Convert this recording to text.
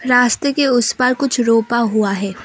रास्ते के उस पर कुछ रूका हुआ है ।